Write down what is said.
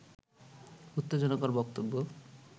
উত্তেজনাকর বক্তব্য